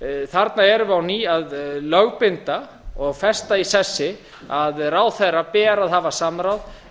þarna erum við á ný að lögbinda og festa í sessi að ráðherra ber að hafa samráð